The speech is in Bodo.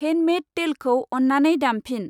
हेन्दमेद तैलखौ अन्नानै दामफिन।